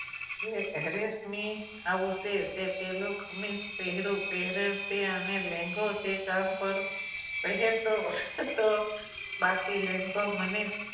તે રેશમી આવું છે તે પહેલું ખમીસ પહેરું પહેરેલું છે આને લેંગો અને તો બાકી લેંગો મને